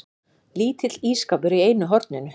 Lítill ísskápur í einu horninu.